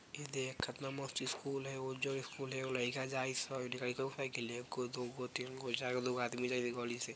ये देख कातना मस्त स्कूल हई वो जो स्कूल हई उ लायक जाइ सा एगो दुगो तीनगो चारगो दुगो आदमी जाइ इ गली से।